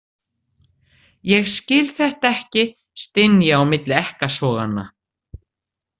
Ég skil þetta ekki, styn ég milli ekkasoganna.